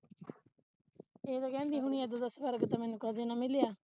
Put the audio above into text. ਇਹ ਤੇ ਕਹਿੰਦੀ ਹੋਣੀ ਏਦਾਂ ਦਾ ਸਵਰਗ ਤੇ ਮੈਨੂੰ ਕਦੇ ਨਾ ਮਿਲਿਆ